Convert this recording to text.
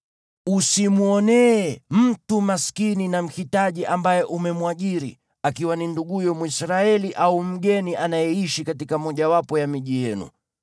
Usimwonee mtu maskini na mhitaji ambaye umemwajiri, akiwa ni nduguyo Mwisraeli au mgeni anayeishi katika mojawapo ya miji yenu.